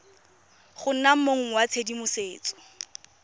go nna mong wa tshedimosetso